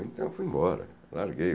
Então, fui embora, larguei.